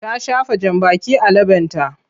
Ta shafa jambaki a leɓenta.